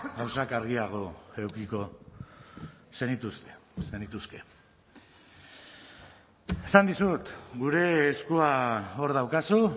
gauzak argiago edukiko zenituzte zenituzke esan dizut gure eskua hor daukazu